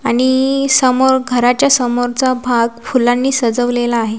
आणि समोर घराच्या समोरचा भाग फुलांनी सजवलेला आहे.